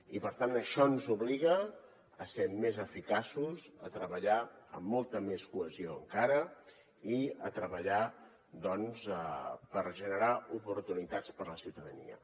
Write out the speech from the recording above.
i per tant això ens obliga a ser més eficaços a treballar amb molta més cohesió encara i a treballar doncs per generar oportunitats per a la ciutadania